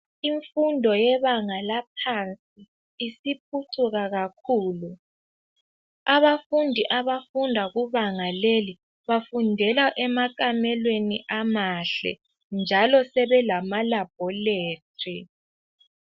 Imfundo yebanga laphansi isiphucuka kakhulu. Abafundi abafunda kubanga leli bafundela emakamelweni amahle njalo sebelamalaboratory.